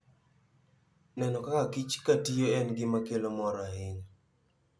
Neno kaka kich katiyo en gima kelo mor ahinya.